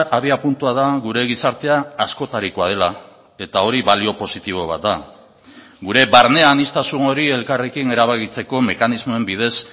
abiapuntua da gure gizartea askotarikoa dela eta hori balio positibo bat da gure barne aniztasun hori elkarrekin erabakitzeko mekanismoen bidez